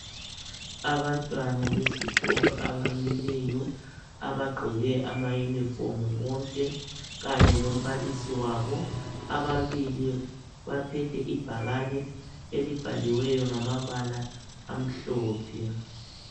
Abantwana besikolo abamileyo abagqoke ama yunifomu bonke kanye lombalisi wabo. Ababili baphethe ibhakane elibhaliweyo ngamabala amhlophe.